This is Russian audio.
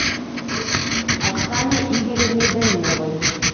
оксане игоревне даниловой